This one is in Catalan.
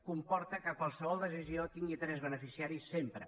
comporta que qualsevol decisió tingui tres beneficiaris sempre